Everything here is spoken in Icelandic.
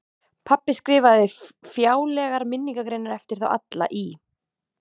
Pabbi skrifaði fjálglegar minningargreinar eftir þá alla í